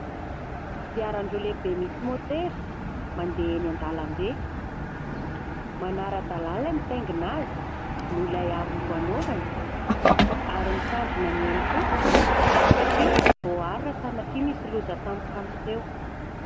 Kodiaran-droa lehibe misy motera mandeha eny an-dalambe, manara-dalalàna ny mitaingina azy no ilay aro loha hanaovany; ary mitandrina ny ainy koa satria voa aro raha sanatria misy loza tampoka miseho.